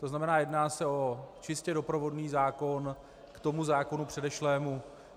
To znamená, jedná se o čistě doprovodný zákon k tomu zákonu předešlému.